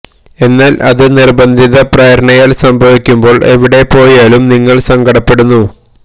എന്നാല് അത് നിര്ബന്ധിത പ്രേരണയാല് സംഭവിക്കുമ്പോള് എവിടെ പോയാലും നിങ്ങള് സങ്കടപ്പെടുന്നു